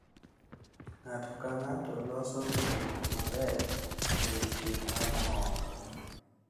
Ng’ato ka ng’ato loso winjruok maber e odiochieng' mar mor.